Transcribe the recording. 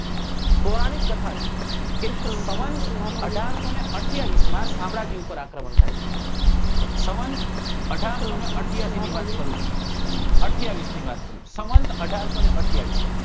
પોરાણિક કથા છે કે સંવંત અઢારસો ને અઠયાવીસ માં શામળાજી ઉપર આક્રમણ થાય છે સંવંત અઢારસો ને અથીયાસી ની વાત કરું છું અઠયાવીસ ની વાત કરું છું સંવંત અઢારસો ને અઠયાવીસ